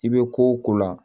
I bɛ ko o ko la